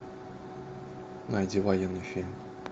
найди военный фильм